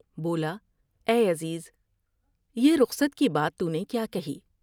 بولا" اے عزیزا یہ رخصت کی بات تو نے کیا کہیا ۔